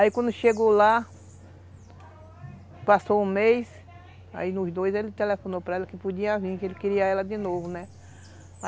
Aí quando chegou lá, passou um mês, aí nos dois ele telefonou para ela que podia vir, que ele queria ela de novo, né?